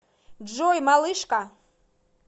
джой малышка